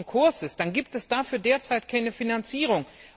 schon in Konkurs ist, dann gibt es dafür derzeit keine Finanzierung.